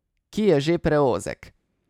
Ki je že preozek.